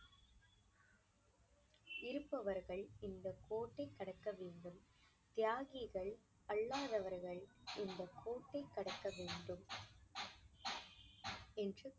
இருப்பவர்கள் இந்த கோட்டை கடக்க வேண்டும். தியாகிகள் அல்லாதவர்கள் இந்த கோட்டை கடக்க வேண்டும் என்று